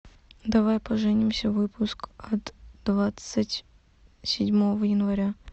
давай поженимся выпуск от двадцать седьмого января